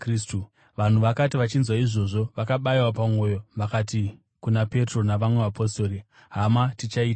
Vanhu vakati vachinzwa izvozvo, vakabayiwa pamwoyo vakati kuna Petro navamwe vapostori, “Hama, tichaiteiko?”